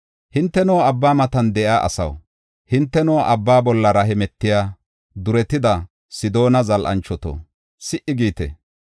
Hinteno, abba matan de7iya asaw, hinteno abba bollara hemetiya duretida, Sidoona zal7anchoto, si77i giite!